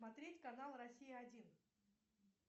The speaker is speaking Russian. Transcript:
смотреть канал россия один